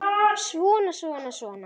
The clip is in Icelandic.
Svona, svona, svona.